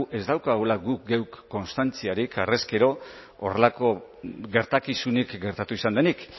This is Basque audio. ez daukagula guk geuk konstantziarik harrezkero horrelako gertakizunik gertatu izan denik